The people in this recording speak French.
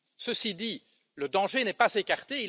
Ceci dit, le danger n'est pas écarté.